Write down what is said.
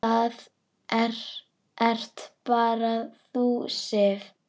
Það ert bara þú, Sif.